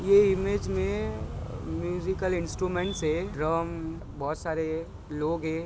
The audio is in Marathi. ये इमेज मे म्यूज़िकल इंस्ट्रूमेंट्स है। ड्रम बहोत सारे लोग है।